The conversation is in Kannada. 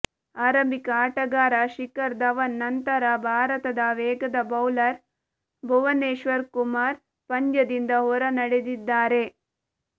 ಆರಂಭಿಕ ಆಟಗಾರ ಶಿಖರ್ ಧವನ್ ನಂತರ ಭಾರತದ ವೇಗದ ಬೌಲರ್ ಭುವನೇಶ್ವರ್ ಕುಮಾರ್ ಪಂದ್ಯದಿಂದ ಹೊರ ನಡೆದಿದ್ದಾರೆ